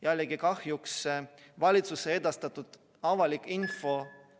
Jällegi kahjuks valitsuse edastatud avalik info ...